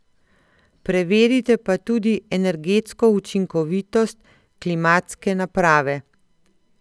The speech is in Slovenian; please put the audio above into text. Preverite pa tudi energetsko učinkovitost klimatske naprave.